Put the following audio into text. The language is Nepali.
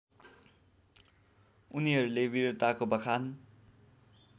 उनीहरूले वीरताको बखान